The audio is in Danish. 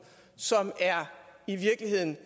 som i virkeligheden